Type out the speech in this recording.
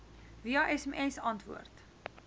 via sms antwoord